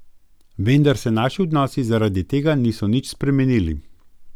Vendar se naši odnosi zaradi tega niso nič spremenili.